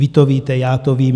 Vy to víte, já to vím.